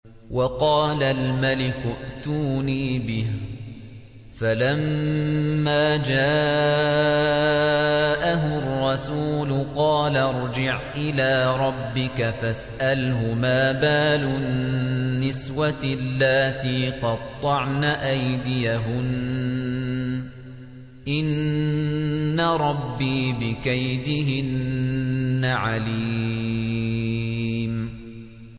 وَقَالَ الْمَلِكُ ائْتُونِي بِهِ ۖ فَلَمَّا جَاءَهُ الرَّسُولُ قَالَ ارْجِعْ إِلَىٰ رَبِّكَ فَاسْأَلْهُ مَا بَالُ النِّسْوَةِ اللَّاتِي قَطَّعْنَ أَيْدِيَهُنَّ ۚ إِنَّ رَبِّي بِكَيْدِهِنَّ عَلِيمٌ